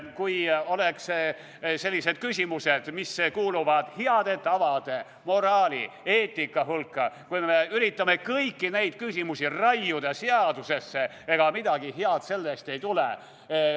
Kui selliseid küsimusi, mis kuuluvad heade tavade, moraali, eetika hulka, me üritame kõiki raiuda seadusesse, siis ega midagi head sellest ei tule.